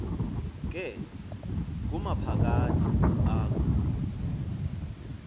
ke kumaphakathi akho